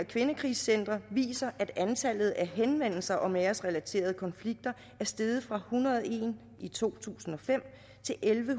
kvindekrisecentre viser at antallet af henvendelser om æresrelaterede konflikter er steget fra hundrede og en i to tusind og fem til elleve